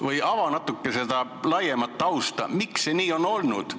Palun ava natuke seda laiemat tausta, miks see nii on olnud!